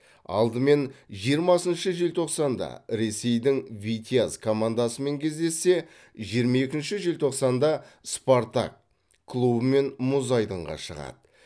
алдымен жиырмасыншы желтоқсанда ресейдің витязь командасымен кездессе жиырма екінші желтоқсанда спартак клубымен мұз айдынға шығады